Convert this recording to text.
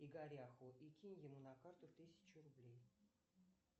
игоряху и кинь ему на карту тысячу рублей